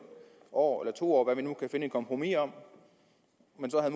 år eller to år vi nu kunne finde et kompromis om